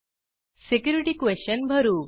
security question भरू